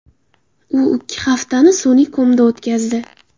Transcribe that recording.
U ikki haftani sun’iy komda o‘tkazdi.